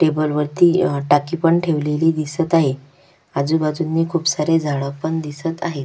Table वरती अ टाकी पण ठेवलेली दिसत आहे आजूबाजूनी खुप सारे झाड पण दिसत आहेत.